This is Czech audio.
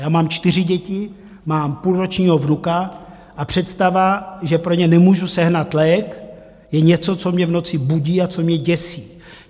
Já mám čtyři děti, mám půlročního vnuka a představa, že pro ně nemůžu sehnat lék, je něco, co mě v noci budí a co mě děsí.